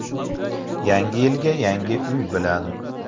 Yangi yilga yangi uy bilan.